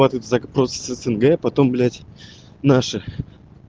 ва тут запрос с снг потом блять наши